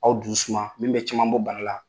Aw dusu suma min bɛ caman bɔ bana la.